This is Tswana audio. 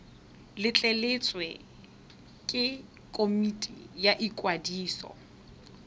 letleletswe ke komiti ya ikwadiso